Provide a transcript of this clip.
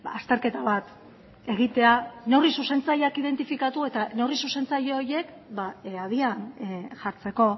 azterketa bat egitea neurri zuzentzaileak identifikatu eta neurri zuzentzaile horiek abian jartzeko